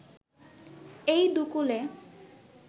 এই দুকুলে